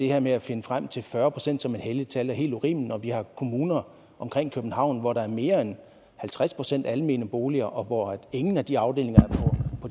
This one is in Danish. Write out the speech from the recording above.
her med at finde frem til fyrre procent som et helligt tal er helt urimeligt når vi har kommuner omkring københavn hvor der er mere end halvtreds procent almene boliger og hvor ingen af de afdelinger